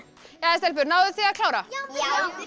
jæja stelpur náðuð þið að klára já